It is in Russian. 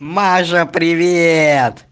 мажа привет